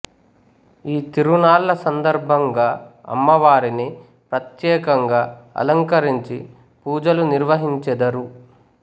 ఈ తిరునాళ్ళ సందర్భంగా అమ్మవారిని ప్రత్యేకంగా అలంకరించి పూజలు నిర్వహించెదరు